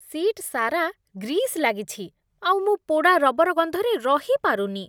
Seat ସାରା grease ଲାଗିଛି ଆଉ ମୁଁ ପୋଡ଼ା ରବର ଗନ୍ଧରେ ରହିପାରୁନି ।